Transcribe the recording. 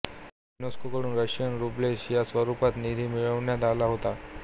UNESCO कडून Russian roubles च्या स्वरूपात निधी मिळवण्यात आला होता